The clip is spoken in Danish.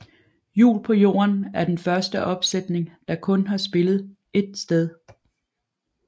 Jul på Jorden er den første opsætning der kun har spillet ét sted